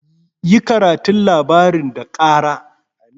Yi karatun labarin da kara!